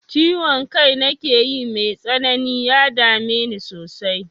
Ciwon kai nakeyi mai tsanani, ya dame ni sosai.